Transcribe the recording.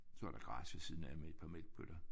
Så er der græs ved siden af med et par mælkebøtter